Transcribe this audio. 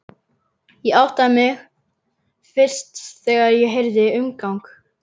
Ég áttaði mig fyrst þegar ég heyrði umgang.